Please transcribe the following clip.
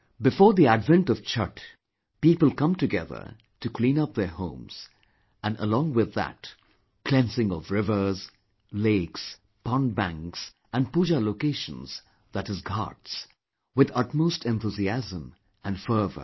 Before the advent of Chatth, people come together to clean up their homes, and along with that cleansing of rivers, lakes, pond banks and pooja locations, that is ghats, with utmost enthusiasm & fervour